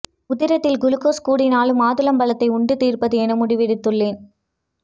உதிரத்தில் glucose கூடினாலும் மாதுளம் பழத்தை உண்டு தீர்ப்பது என முடிவெடுத்துள்ளேன்